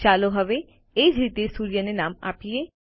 ચાલો હવે એ જ રીતે સૂર્યને નામ આપીએ